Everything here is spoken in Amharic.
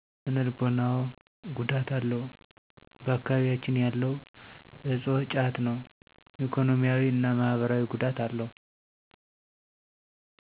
ስነልቦናዎ ጉዳት አለው ባአካቢቢያችን ያለው እፆ ጫት ነው። ኢኮኖሚያዊ እና ማህበራዊ ጉዳት አለው።